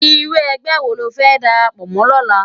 Irú ègbè wó ló fè dàrápò mò lòlá?